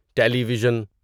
ٹیلی vision